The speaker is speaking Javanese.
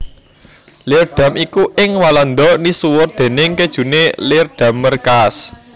Leerdam iku ing Walanda misuwur déning kéjuné Leerdammer kaas